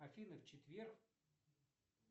афина в четверг